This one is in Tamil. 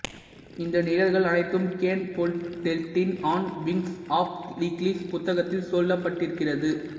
இந்த நிகழ்வுகள் அனைத்தும் கென் ஃபோல்லெட்டின் ஆன் விங்க்ஸ் ஆஃப் ஈகிள்ஸ் புத்தகத்தில் சொல்லப்பட்டிருக்கிறது